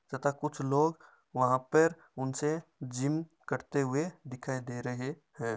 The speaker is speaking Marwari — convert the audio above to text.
तथा कुछ लोग वहा पर उनसे जिम करते हुए दिखाई दे रहे हैं।